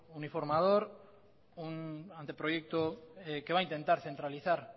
uniformador un anteproyecto que va a intentar centralizar